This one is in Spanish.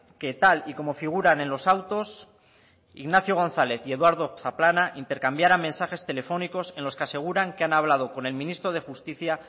que tal y como figuran en los autos ignacio gonzález y eduardo zaplana intercambiaran mensajes telefónicos en los que aseguran que han hablado con el ministro de justicia